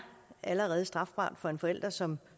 allerede strafbart for en forælder som